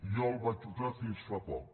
jo el vaig usar fins fa poc